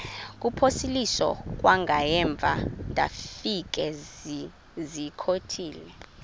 kuphosiliso kwangaemva ndafikezizikotile